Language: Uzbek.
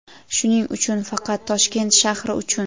Shuning uchun faqat Toshkent shahri uchun.